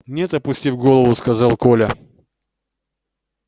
нет опустив голову сказал коля